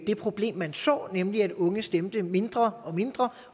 det problem man så nemlig at unge stemte mindre og mindre